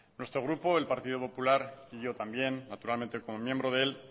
nuestro grupo el partido popular y yo también naturalmente como miembro de él